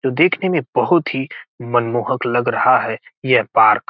देखने में बहुत ही मनमोहक लग रहा है ये पार्क ।